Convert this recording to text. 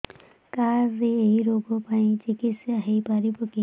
card ରେ ଏଇ ରୋଗ ପାଇଁ ଚିକିତ୍ସା ହେଇପାରିବ କି